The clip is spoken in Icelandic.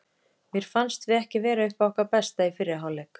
Mér fannst við ekki vera upp á okkar besta í fyrri hálf leik.